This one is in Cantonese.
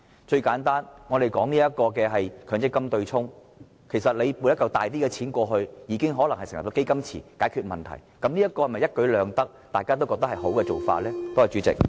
最簡單，我們討論強積金對沖時，其實政府撥出一大筆款項，已經能夠成立基金池來解決問題，這不是一舉兩得，大家也認為很好的做法嗎？